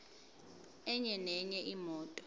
enye nenye imoto